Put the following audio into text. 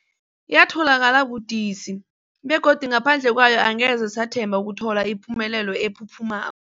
Yatholakala budisi, begodu ngaphandle kwayo angeze sathemba ukuthola ipumelelo ephuphuma